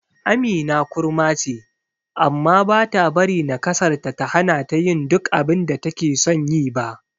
Amina kurma ce, amma bata bari nakasarta ta hanata yin duk abinda takeson yi ba.